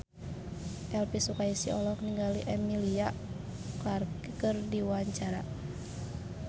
Elvy Sukaesih olohok ningali Emilia Clarke keur diwawancara